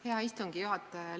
Hea istungi juhataja!